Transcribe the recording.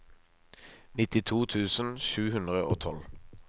nittito tusen sju hundre og tolv